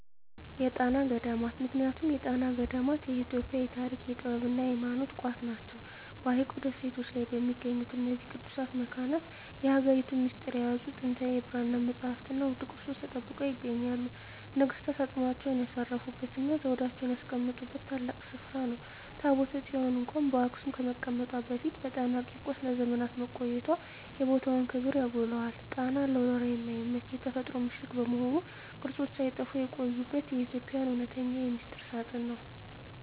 የጣና ገዳማት ምክንያቱም የጣና ገዳማት የኢትዮጵያ የታሪክ፣ የጥበብና የሃይማኖት ቋት ናቸው። በሐይቁ ደሴቶች ላይ በሚገኙት በእነዚህ ቅዱሳት መካናት፣ የሀገሪቱን ሚስጥር የያዙ ጥንታዊ የብራና መጻሕፍትና ውድ ቅርሶች ተጠብቀው ይገኛሉ። ነገሥታት አፅማቸውን ያሳረፉበትና ዘውዳቸውን ያስቀመጡበት ታላቅ ስፍራ ነው። ታቦተ ጽዮን እንኳን በአክሱም ከመቀመጧ በፊት በጣና ቂርቆስ ለዘመናት መቆየቷ የቦታውን ክብር ያጎላዋል። ጣና ለወረራ የማይመች የተፈጥሮ ምሽግ በመሆኑ፣ ቅርሶች ሳይጠፉ የቆዩበት የኢትዮጵያ እውነተኛ ሚስጥር ሳጥን ነው።